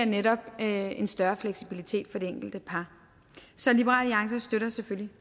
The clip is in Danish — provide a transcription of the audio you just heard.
netop giver en større fleksibilitet for det enkelte par så liberal alliance støtter selvfølgelig